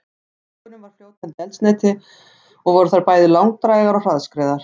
Í flaugunum var fljótandi eldsneyti og voru þær bæði langdrægar og hraðskreiðar.